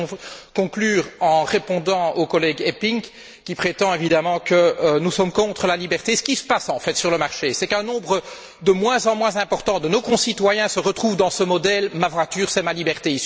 Je voudrais conclure en répondant au collègue Eppink, qui prétend évidemment que nous sommes contre la liberté. Ce qui se passe, en fait, sur le marché, c'est qu'un nombre de moins en moins important de nos concitoyens se retrouvent dans ce modèle Ma voiture, c'est ma liberté.